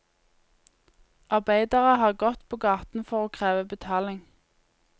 Arbeidere har gått på gaten for å kreve betaling.